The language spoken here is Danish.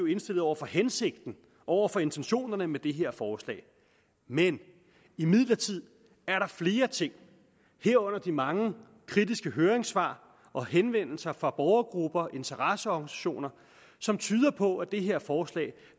indstillet over for hensigten over for intentionerne med det her forslag men imidlertid er der flere ting herunder de mange kritiske høringssvar og henvendelser fra borgergrupper og interesseorganisationer som tyder på at det her forslag